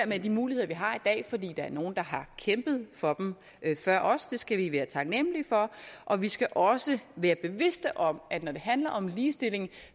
med de muligheder vi har i dag fordi der er nogle der har kæmpet for dem før os og det skal vi være taknemlige for og vi skal også være bevidste om at når det handler om ligestilling